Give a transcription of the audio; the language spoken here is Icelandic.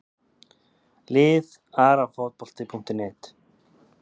Lið Arafotbolti.net